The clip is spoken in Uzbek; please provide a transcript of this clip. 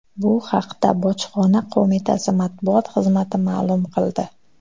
Bu haqda Bojxona qo‘mitasi matbuot xizmati ma’lum qildi .